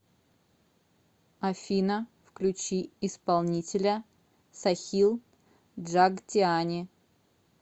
афина включи исполнителя сахил джагтиани